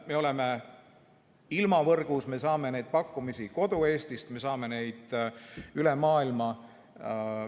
Me oleme ilmavõrgus, me saame neid pakkumisi kodu-Eestist, me saame neid mujalt maailmast.